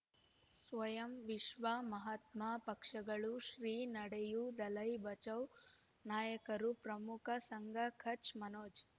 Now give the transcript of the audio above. ಸ್ವಯಂ ವಿಶ್ವ ಮಹಾತ್ಮ ಪಕ್ಷಗಳು ಶ್ರೀ ನಡೆಯೂ ದಲೈ ಬಚೌ ನಾಯಕರು ಪ್ರಮುಖ ಸಂಘ ಕಚ್ ಮನೋಜ್